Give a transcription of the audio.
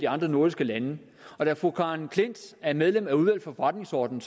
andre nordiske lande da fru karen klint er medlem af udvalget for forretningsordenen